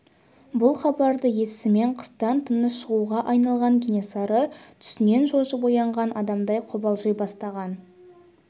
бұл хабарды естісімен қыстан тыныш шығуға айналған кенесары түсінен шошып оянған адамдай қобалжи бастаған